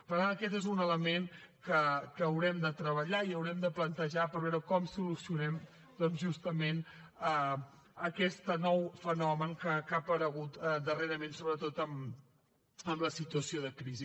per tant aquest és un element que haurem de treballar i haurem de plantejar per veure com solucionem doncs justament aquest nou fenomen que ha aparegut darrerament sobretot amb la situació de crisi